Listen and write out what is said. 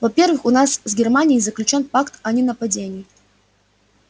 во-первых у нас с германией заключён пакт о ненападении